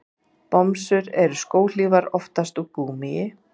Bomsur eru skóhlífar, oftast úr gúmmíi.